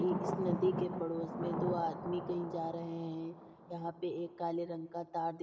ये इस नदी के पड़ोस में दो आदमी कहीं जा रहे हैं। यहां पे एक काले रंग का तार दिख --